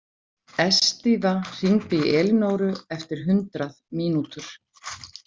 Estiva, hringdu í Elinóru eftir hundrað mínútur.